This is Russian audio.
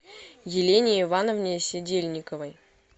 елене ивановне седельниковой